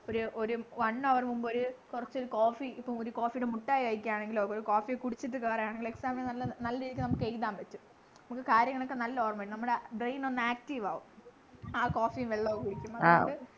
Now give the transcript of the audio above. ഒരു ഒരു one hour നു മുമ്പ് ഒരു കൊറച്ച് coffee ഇപ്പോ ഒരു coffee ടെ മുട്ടായി കഴിക്കാണെങ്കിലോ ഒരു coffee കുടിച്ചിട്ട് കേറൂആണെങ്കിലോ exam നു നല്ല നല്ല രീതിയിൽ നമുക്ക് എഴുതാൻ പറ്റും നമുക്ക് കാര്യങ്ങളൊക്കെ നല്ല ഓർമയുണ്ടാകും നമ്മുടെ brain ഒന്ന് active ആവും ആ coffee വെള്ളവും കുടിക്കുമ്പോ നമുക്ക്